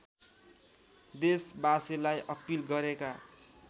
देशबासीलाई appeal गरेका